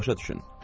Başa düşün.